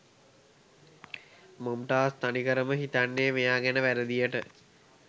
මොම්ටාස් තනිකරම හිතන්නේ මෙයා ගැන වැරදියට.